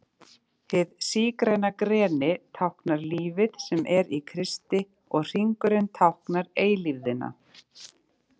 Hið sígræna greni táknar lífið sem er í Kristi og hringurinn táknar eilífðina.